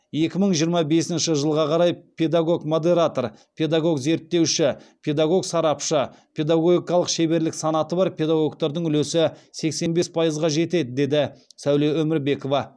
екі мың жиырма бесінші жылға қарай педагог модератор педагог зерттеуші педагог сарапшы педагогикалық шеберлік санаты бар педагогтардың үлесі сексен бес пайызға жетеді деді сәуле өмірбекова